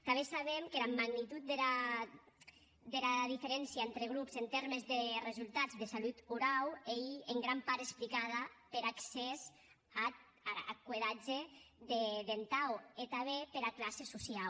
tanben sabem qu’era magnitud dera diferéncia entre grops en tèrmes de resultats de salut orau ei en gran part explicada per accès ath curedatge dentau e tanben pera classa sociau